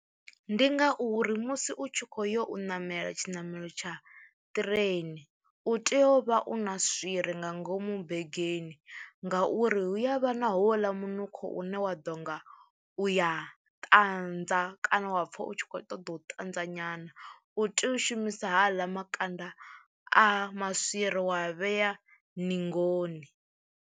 Ndi ngauri musi u tshi khou yo u ṋamela tshiṋamelo tsha ṱireni u tea u vha u na swiri nga ngomu begeni ngauri hu ya vha na houḽa munukho une wa u ḓo nga u ya ṱanza kana wa pfha u tshi khou ṱoḓa u ṱanza nyana, u tea u shumisa haḽa makanda a maswiri wa a vhea ningoni.